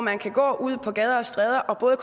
han kan gå ud på gader og stræder og både